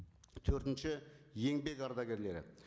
төртінші еңбек ардагерлері